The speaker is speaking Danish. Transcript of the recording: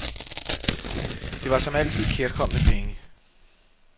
Det var som altid kærkomne penge.